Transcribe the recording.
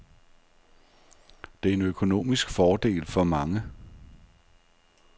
Det er en økonomisk fordel for mange.